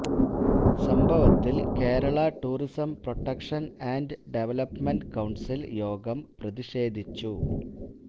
സംഭവത്തില് Kerala tourism protection and development council യോഗം പ്രതിഷേധിച്ചു